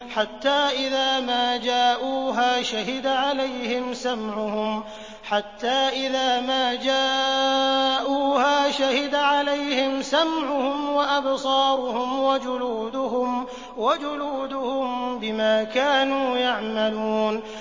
حَتَّىٰ إِذَا مَا جَاءُوهَا شَهِدَ عَلَيْهِمْ سَمْعُهُمْ وَأَبْصَارُهُمْ وَجُلُودُهُم بِمَا كَانُوا يَعْمَلُونَ